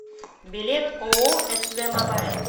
билет ооо св мобайл